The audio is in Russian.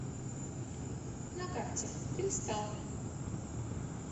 на карте кристалл